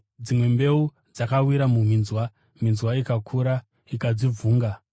Dzimwe mbeu dzakawira muminzwa, minzwa ikakura ikadzivhunga.